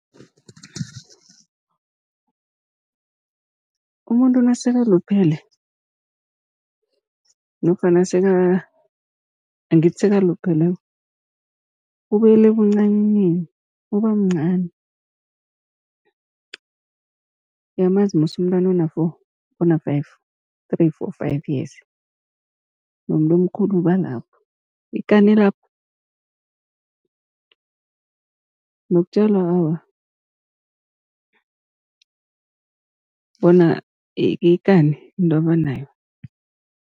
Umuntu nasekaluphele nofana angithi sekalupheleko ubuyela ebuncanini uba mncani. Uyamazi musi umntwana ona-four, ona-five, three-four-five years nomuntu omkhulu uba lapho, ikani elapho nokutjelwa awa bona ikani yinto abanayo.